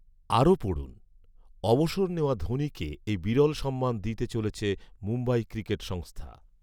আরও পডু়ন অবসর নেওয়া ধোনিকে এই বিরল সম্মান দিতে চলেছে মুম্বই ক্রিকেট সংস্থা